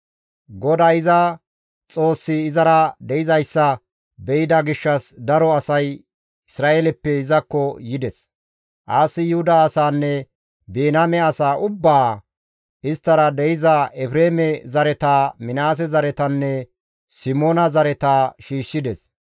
GODAY iza Xoossi izara de7izayssa be7ida gishshas daro asay Isra7eeleppe izakko yides; Aasi Yuhuda asaanne Biniyaame asaa ubbaa, isttara de7iza Efreeme zareta, Minaase zaretanne Simoona zareta shiishshides.